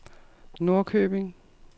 Norrköping